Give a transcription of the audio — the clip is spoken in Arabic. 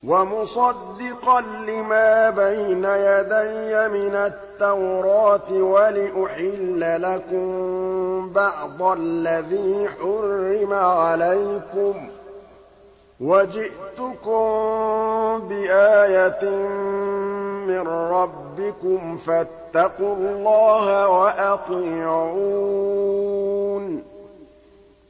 وَمُصَدِّقًا لِّمَا بَيْنَ يَدَيَّ مِنَ التَّوْرَاةِ وَلِأُحِلَّ لَكُم بَعْضَ الَّذِي حُرِّمَ عَلَيْكُمْ ۚ وَجِئْتُكُم بِآيَةٍ مِّن رَّبِّكُمْ فَاتَّقُوا اللَّهَ وَأَطِيعُونِ